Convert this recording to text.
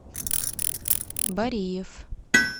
бариев